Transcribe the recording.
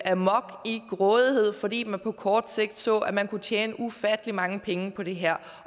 amok i grådighed fordi man på kort sigt så at man kunne tjene ufattelig mange penge på det her